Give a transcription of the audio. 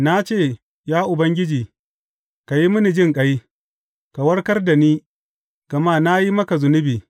Na ce, Ya Ubangiji, ka yi mini jinƙai; ka warkar da ni, gama na yi maka zunubi.